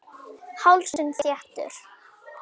Hálsinn þéttur.